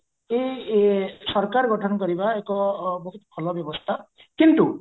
ଏ ଏଇ ସରକାର ଗଠନ କରିବା ଏକ ବହୁତ ଭଲ ବ୍ୟବସ୍ଥା କିନ୍ତୁ